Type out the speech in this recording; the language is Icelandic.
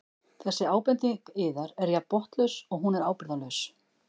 Þessi ábending yðar er jafn botnlaus og hún er ábyrgðarlaus.